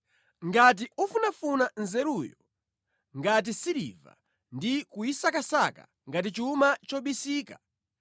ngati ufunafuna nzeruyo ngati siliva ndi kuyisakasaka ngati chuma chobisika,